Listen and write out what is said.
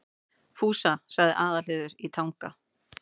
Fúsa, sagði Aðalheiður í Tanga.